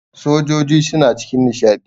sojoji suna cikin nishadi